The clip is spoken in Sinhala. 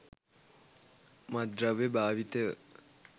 මත්ද්‍රව්‍ය භාවිතය